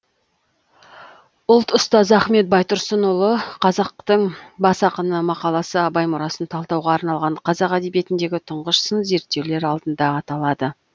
ұлт ұстазы ахмет байтұрсынұлы қазақтың бас ақыны мақаласы абай мұрасын талдауға арналған қазақ әдебиетіндегі тұңғыш сын зерттеулер алдында аталады